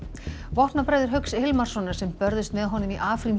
vopnabræður Hauks Hilmarssonar sem börðust með honum í